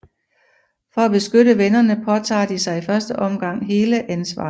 For at beskytte vennerne påtager de sig i første omgang hele ansvaret